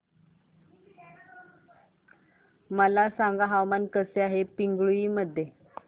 मला सांगा हवामान कसे आहे पिंगुळी मध्ये